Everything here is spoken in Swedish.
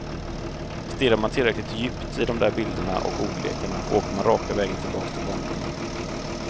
Stirrar man tillräckligt djupt i de där bilderna och ordlekarna åker man raka vägen tillbaks till barndomen.